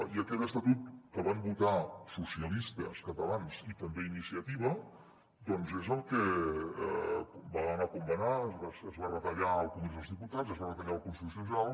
i aquell estatut que van votar socialistes catalans i també iniciativa doncs és el que va anar com va anar es va retallar al congrés dels diputats i es va retallar al constitucional